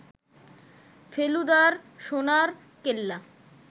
ফেলুদার সোনার কেল্লা